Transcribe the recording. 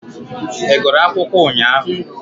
Ị gụrụ akụkọ ụnyahụ?